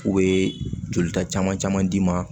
U bɛ jolita caman caman d'i ma